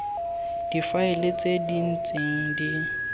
difaele tse di ntseng di